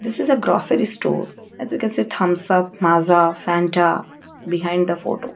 this is a grocery store as we can see thumbs up maaza fanta behind the photo.